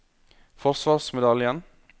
forsvarsmedaljen